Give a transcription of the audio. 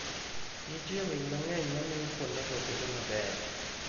Nitie winy mang'eny mamiyo kuondego bedo mabeyo .